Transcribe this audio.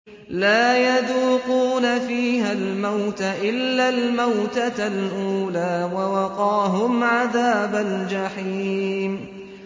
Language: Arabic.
لَا يَذُوقُونَ فِيهَا الْمَوْتَ إِلَّا الْمَوْتَةَ الْأُولَىٰ ۖ وَوَقَاهُمْ عَذَابَ الْجَحِيمِ